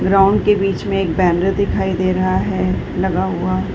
ground के बीच में एक बैनर दिखाई दे रहा है लगा हुआ --